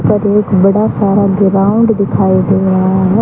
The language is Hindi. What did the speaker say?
और एक बड़ा सारा ग्राउंड दिखाई दे रहा है।